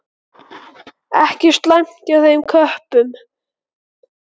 Ekki slæmt hjá þeim köppum.